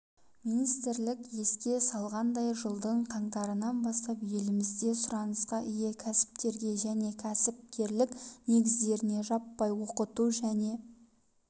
министрлік еске салғандай жылдың қаңтарынан бастап елімізде сұранысқа ие кәсіптерге және кәсіпкерлік негіздеріне жаппай оқыту және